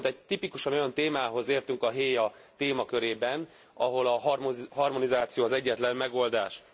Viszont egy tipikusan olyan témához értünk a héa témakörében, ahol a harmonizáció az egyetlen megoldás.